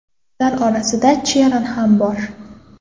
Ular orasida Cheran ham bor.